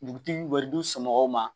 Dugutigi bɛ du somɔgɔw ma